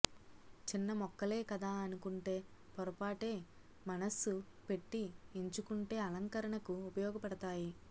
చిన్నమొక్కలే కదా అనుకుంటే పొరపాటే మనస్సు పెట్టి ఎంచుకుంటే అలంకరణకు ఉపయోగపడతాయి